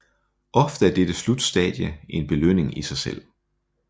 Ofte er dette slutstadie en belønning i sig selv